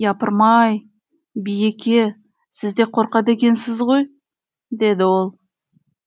япырмай биеке сіз де қорқады екенсіз ғой деді ол